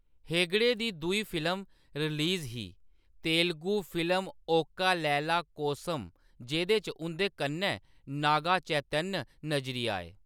हेगड़े दी दूई film release ही तेलुगु फिल्म ओका लैला कोसम जेह्‌‌‌दे च उंʼदे कन्नै नागा चैतन्य नजरी आए।